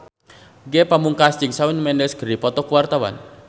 Ge Pamungkas jeung Shawn Mendes keur dipoto ku wartawan